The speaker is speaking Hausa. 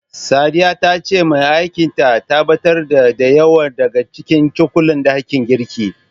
Sadiya ta ce mai aikin ta, ta ɓatar da, da yawa daga cikin cokulan ɗakin girkin.